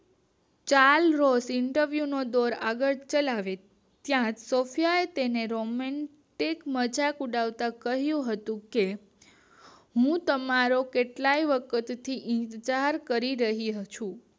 ચાલ નો સિંથવું નો ડોર આગળ ચલાવે જ્યાં સોફ્યએ તેને રોબોટ એક મઝાક ઉડાવતા કહ્યું હતું કે હું તમારો કેટલાય વર્ષો થી ઇન્તઝાર કરી રહી છું